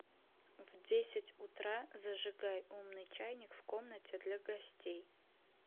в десять утра зажигай умный чайник в комнате для гостей